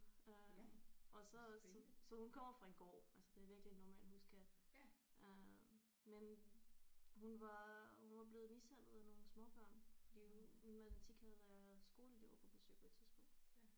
Øh og så så så hun kommer fra en gård altså det er virkelig en normal huskat øh men hun var hun var blevet mishandlet af nogle småbørn fordi min matematik havde lærer havde skoleelever på besøg på et tidspunkt